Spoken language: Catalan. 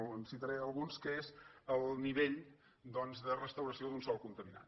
en citaré alguns que és el nivell doncs de restauració d’un sòl conta·minat